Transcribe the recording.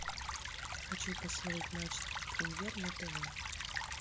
хочу посмотреть матч премьер на тв